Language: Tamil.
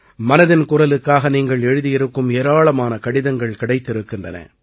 மனதின் குரலுக்காக நீங்கள் எழுதியிருக்கும் ஏராளமான கடிதங்கள் கிடைத்திருக்கின்றன